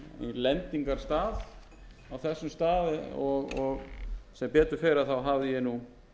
lendingarstað á þessum stað og sem betur fer hafði ég nú